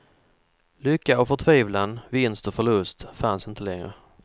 Lycka och förtvivlan, vinst och förlust fanns inte längre.